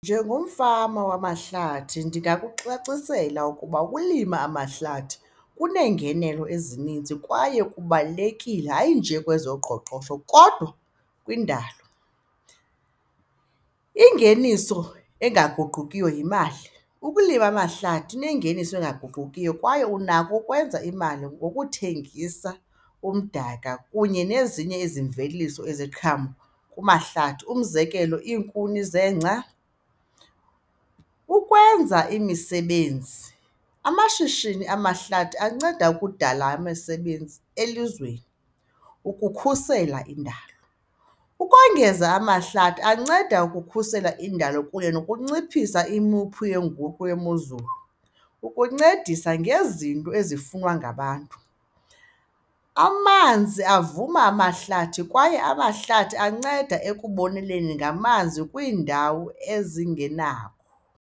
Njengomfama wamahlathi ndingakucacisela ukuba ukulima amahlathi kuneengenelo ezininzi kwaye kubalulekile, hayi nje kwezoqoqosho kodwa kwindalo. Ingeniso engaguqukiyo yimali, ukulima amahlathi kunengeniso engaguqukiyo kwaye unako ukwenza imali ngokuthengisa umdaka kunye nezinye izimveliso iziqhamo kumahlathi, umzekelo iinkuni zeengca. Ukwenza imisebenzi, amashishini amahlathi anceda ukudala emisebenzi elizweni, ukukhusela indalo. Ukongeza amahlathi anceda ukukhusela indalo kunye nokunciphisa imophu yenguqu yemozulu, ukuncedisa ngezinto ezifunwa ngabantu. Amanzi avuma amahlathi kwaye amahlathi anceda ekuboneleni ngamanzi kwiindawo ezingenawo.